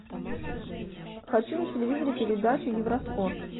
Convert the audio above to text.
хочу на телевизоре передачу евроспорт